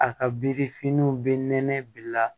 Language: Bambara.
A ka birifiniw bɛ nɛnɛ bila